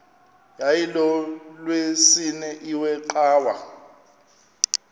yayilolwesine iwe cawa